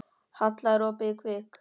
Halla, er opið í Kvikk?